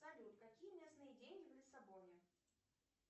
салют какие местные деньги в лиссабоне